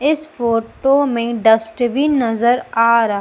इस फोटो में डस्टबिन नजर आ र--